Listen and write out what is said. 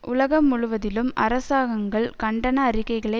உலகம் முழுவதிலும் அரசாங்கங்கள் கண்டன அறிக்கைகளை